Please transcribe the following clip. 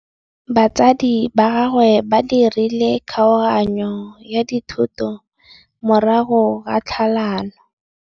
Batsadi ba gagwe ba dirile kgaoganyô ya dithoto morago ga tlhalanô.